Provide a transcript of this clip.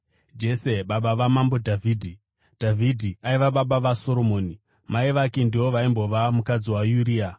naJese baba vamambo Dhavhidhi. Dhavhidhi aiva baba vaSoromoni, mai vake ndivo vaimbova mukadzi waUria,